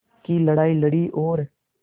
की लड़ाई लड़ी और